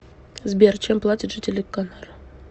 сбер чем платят жители канар